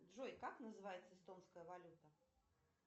джой как называется эстонская валюта